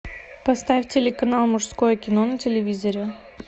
поставь телеканал мужское кино на телевизоре